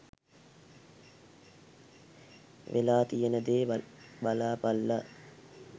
වෙලා තියෙන දේ බලපල්ලා.